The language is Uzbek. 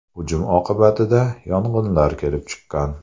Hujum oqibatida yong‘inlar kelib chiqqan.